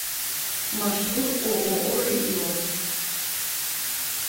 маршрут ооо регион